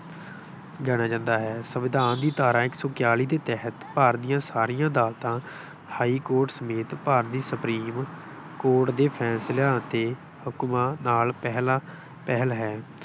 ਜਾਣਿਆ ਜਾਂਦਾ ਹੈ। ਸੰਵਿਧਾਨ ਦੀ ਧਾਰਾ ਇੱਕ ਸੌ ਇਕਾਅਲੀ ਦੇ ਤਹਿਤ ਭਾਰਤ ਦੀਆਂ ਸਾਰੀਆਂ ਅਦਾਲਤਾਂ ਹਾਈਕੋਰਟ ਸਮੇਤ ਭਾਰਤੀ ਸੁਪਰੀਮ ਕੋਰਟ ਦੇ ਫੈਸਲਿਆਂ ਅਤੇ ਹੁਕਮਾਂ ਨਾਲ ਪਹਿਲਾਂ ਪਹਿਲ ਹੈ।